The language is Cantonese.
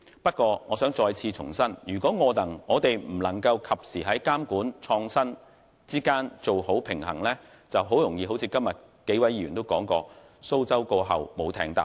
不過，我想重申，如果我們未能及時在監管與創新之間取得平衡，便會很容易出現一如今天數位議員所說的情況——"蘇州過後無艇搭"。